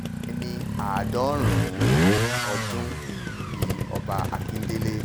ẹni àádọ́rùn-ún ọdún ni ọba akíndélé